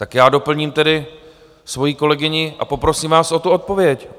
Tak já doplním tedy svoji kolegyni a poprosím vás o tu odpověď.